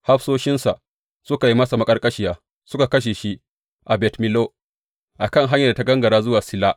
Hafsoshinsa suka yi masa maƙarƙashiya suka kashe shi a Bet Millo, a kan hanyar da ta gangara zuwa Silla.